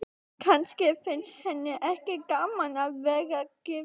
Kannski finnst henni ekki gaman að vera gift.